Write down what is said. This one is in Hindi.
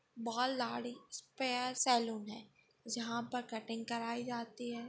स्पेर सलून है जहां पर कटिंग कराई जाती है।